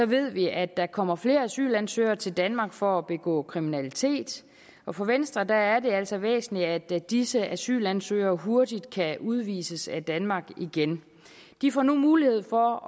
ved vi at der kommer flere asylansøgere til danmark for at begå kriminalitet og for venstre er det altså væsentligt at disse asylansøgere hurtigt kan udvises af danmark igen de får nu mulighed for